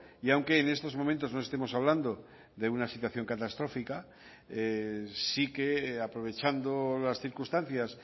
y aunque en estos momentos no estemos hablando de una situación catastrófica sí que aprovechando las circunstancias